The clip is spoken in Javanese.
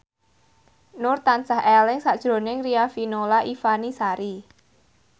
Nur tansah eling sakjroning Riafinola Ifani Sari